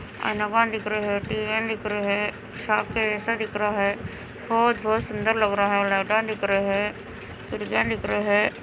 TV दिख रहे हैं शॉप के जैसा दिख रहा हैं बहुत - बहुत सुन्दर लगा रहा हैं लाइट ऑन दिख रहे हैं डिज़ाइन दिख रहे हैं।